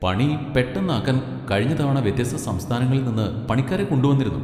പണി പെട്ടെന്നാക്കാൻ കഴിഞ്ഞ തവണ വ്യത്യസ്ത സംസ്ഥാനങ്ങളിൽ നിന്ന് പണിക്കാരെ കൊണ്ടുവന്നിരുന്നു.